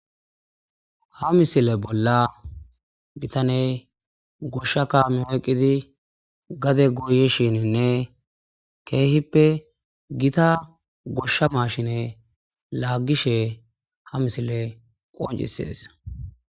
Ha misile bola bitaney gosha kame oyqidi gade goyishinine kehippe gita gosha mashine lagishe ha misilen qoncisides